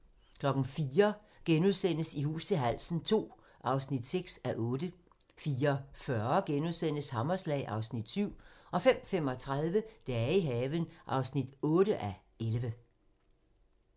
04:00: I hus til halsen II (6:8)* 04:40: Hammerslag (Afs. 7)* 05:35: Dage i haven (8:11)